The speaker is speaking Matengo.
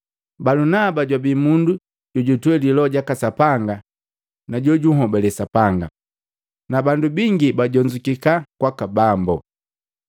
Balunaba jwabi mundu jojutweli Loho jaka Sapanga na jojunhobale Sapanga. Nabandu bingi bajonzukika kwaka Bambu.